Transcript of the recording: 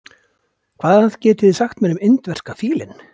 Hvað getið þið sagt mér um indverska fílinn?